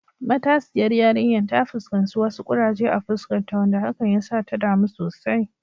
Matasiyar yarinyar ta fuskanci wasu kuraje a fuskarta, wanda hakan ya sa ta damu sosai.